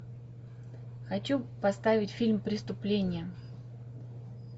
хочу поставить фильм преступление